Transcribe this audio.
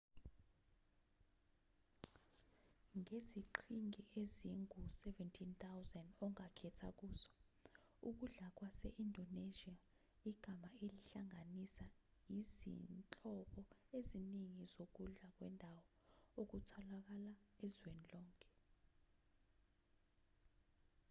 ngeziqhingi ezingu-17,000 ongakhetha kuzo ukudla kwase-indonesia igama elihlanganisa izinhlobo eziningi zokudlwa kwendawo okutholakala ezweni lonke